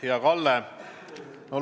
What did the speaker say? Hea Kalle!